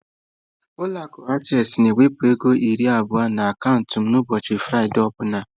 Ụlọ akụ acesịị na-ewepụ ego naira iri abụọ n'akaụntụ m ụbọchị Fraịde ọ bụla.